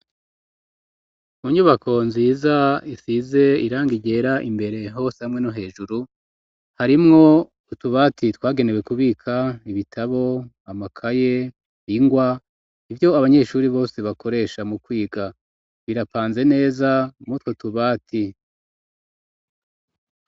Mu nyubako nziza isize iranga ryera imbere hose hamwe no hejuru ,harimwo utubati twagenewe kubika ibitabo ,amakaye ,ingwa ivyo abanyeshuri bose bakoresha mu kwiga birapanze neza mutwo tubati.